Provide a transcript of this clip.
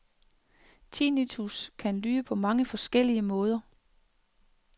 Tinnitus kan lyde på mange forskellige måder.